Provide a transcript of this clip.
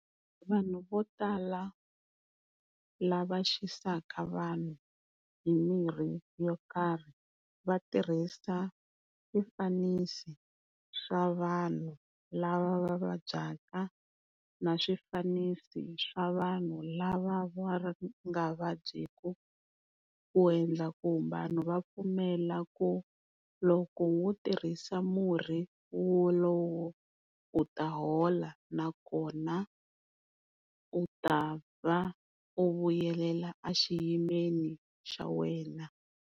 Vanhu vo tala lava xisaka vanhu hi mirhi yo karhi va tirhisa swifanisi swa vanhu lava va vabyaka na swifanisi swa vanhu lava va nga vabyeki ku endla ku vanhu va pfumela ku loko wo tirhisa murhi wolowo u ta hola nakona u ta va u vuyelela a xiyimeni xa wena.